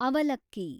ಅವಲಕ್ಕಿ